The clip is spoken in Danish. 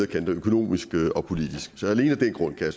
kanter økonomisk og politisk så alene af den grund kan